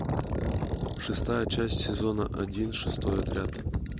шестая часть сезона один шестой отряд